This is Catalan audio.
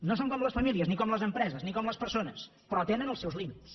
no són com les famílies ni com les empreses ni com les persones però tenen els seus límits